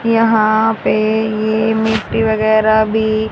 यहां पे ये मिट्टी वगैरह भी--